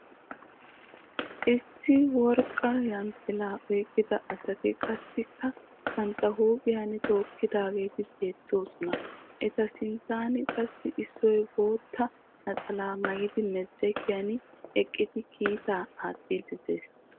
Issi worqqa yanxxilaa oyikkida asati qassikka bantta huuphiyan tookkidaageeti beettoosona. Eta sinttan qassi issoy bootta naxalaa mayidi medirekiyan eqqidi keettaa aattiiddi des.